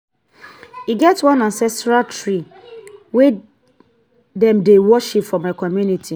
e get one ancestral tree wey dem dey worship for my community.